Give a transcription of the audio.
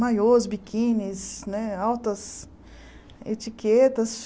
Maiôs, biquínis, né altas etiquetas.